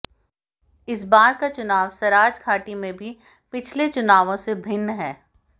इस बार का चुनाव सराज घाटी में भी पिछले चुनावों से भिन्न है